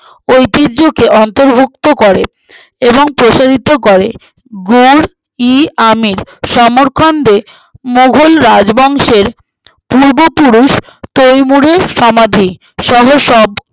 ঐতিহ্যকে অন্তর্ভুক্ত করে এবং প্রসারিত করে গুড়-ই-আমের সমরকন্দে মোঘল রাজবংশের পূর্ব পুরুষ তৈমুরের সমাধি সহ সপ